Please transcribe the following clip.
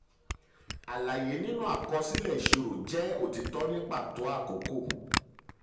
alaye nínú àkọsílẹ̀ ìṣirò jẹ otitọ ní pàtó àkókò.